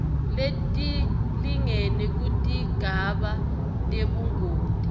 letilingene kutigaba tebungoti